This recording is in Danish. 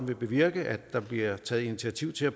vil bevirke at der bliver taget initiativ til at